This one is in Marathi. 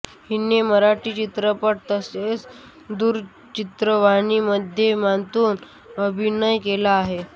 हिने मराठी चित्रपट तसेच दूरचित्रवाणी माध्यमांतून अभिनय केला आहे